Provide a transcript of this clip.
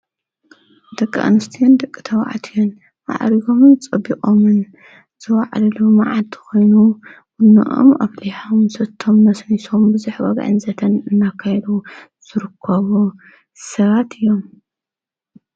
ደቂ ኣንስትዮን ደቂ ተባዕትዮን ማዕሪጎምን ፀቢቆምን ዝዋዓልሉ መዓልቲ ኾይኑ ብኖኦም ኣፍሊሖም ሰቶም ነስኒሶም ብዙሕ ወግዕን ዘተን እናካየዱ ዝርከቡ ሰባት እዮም።